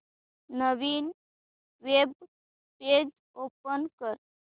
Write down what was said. नवीन web page open कर